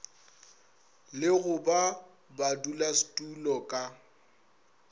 le go ba badulasetulo ka